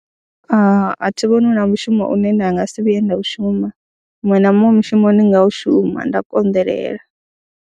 A thi vhoni hu na mushumo une nda nga si vhuye nda u shuma muṅwe na muṅwe mushumo ndi nga u shuma nda konḓelela.